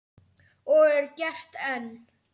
Og er gert enn.